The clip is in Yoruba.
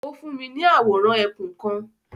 O fún mi ni awóran ẹkún kan